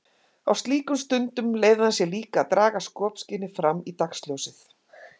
Á slíkum stundum leyfði hann sér líka að draga skopskynið fram í dagsljósið.